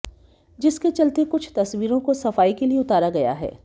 जिसके चलते कुछ तस्वीरों को सफाई के लिए उतारा गया है